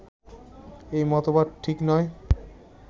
এ মতবাদ ঠিক নয়